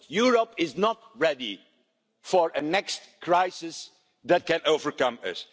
Europe is not ready for the next crisis that may overcome